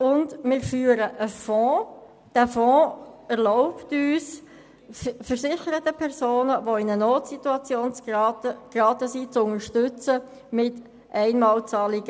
Weiter führen wir einen Fonds, der versicherte Personen in einer Notsituation mit Einmalzahlungen zu unterstützen erlaubt.